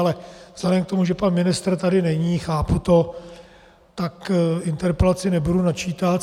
Ale vzhledem k tomu, že pan ministra tady není, chápu to, tak interpelaci nebudu načítat.